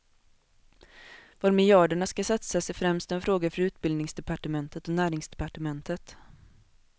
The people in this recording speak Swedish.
Var miljarderna skall satsas är främst en fråga för utbildningsdepartementet och näringsdepartementet.